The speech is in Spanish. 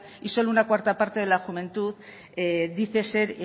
y solo una cuarta parte de la juventud dice ser